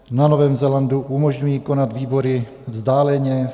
Na Novém Zélandu umožňují konat výbory vzdáleně.